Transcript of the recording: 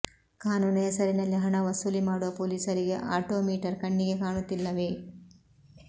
ಕಾನೂನು ಹೆಸರಿನಲ್ಲಿ ಹಣ ವಸೂಲಿ ಮಾಡುವ ಪೊಲೀಸರಿಗೆ ಆಟೋಮೀಟರ್ ಕಣ್ಣಿಗೆ ಕಾಣುತ್ತಿಲ್ಲವೇ